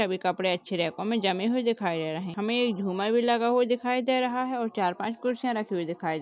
--कपडे अच्छे रैको में जमे हुए दिखाई दे रहें है हमें ये झूमर भी लगा हुआ दिखाई दे रहा हैं और चार- पाँच कुर्सियाँ रखी हुई दिखाई दे रही हैं।